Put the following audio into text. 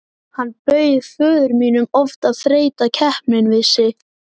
Hann bauð föður mínum oft að þreyta keppni við sig.